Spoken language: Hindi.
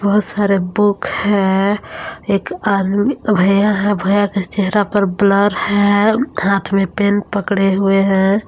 बहुत सारा बुक है एक आदमी अह भैया है भैया के चेहरा पर ब्लर है हाथ में पेन पकड़े हुए है।